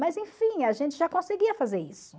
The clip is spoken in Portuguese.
Mas enfim, a gente já conseguia fazer isso.